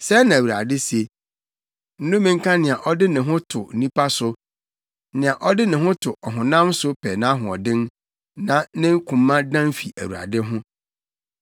Sɛɛ na Awurade se, “Nnome nka nea ɔde ne ho to onipa so, nea ɔde ne ho to ɔhonam so pɛ nʼahoɔden na ne koma dan fi Awurade ho.